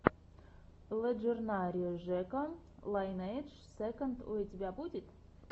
лэджендари жека лайнэйдж сэконд у тебя будет